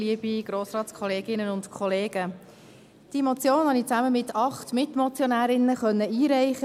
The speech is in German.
Diese Motion konnte ich zusammen mit acht Mitmotionärinnen einreichen.